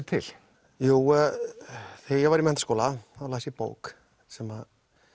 til jú þegar ég var í menntaskóla las ég bók sem